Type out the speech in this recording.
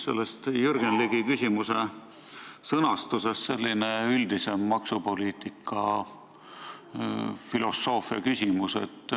Mul tekkis Jürgen Ligi küsimuse sõnastuse ajendil selline üldisem maksupoliitika filosoofia küsimus.